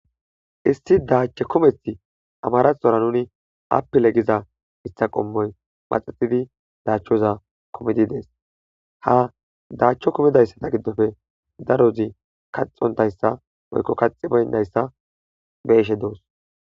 issi daacho kumethi amaraxora nuni apile giza isthaqommoy maxexidi daachchoza komedi dees ha daachcho komidayssata giddofe darozi kaxontayssa moykko kaxi boyndayssa beeshe doos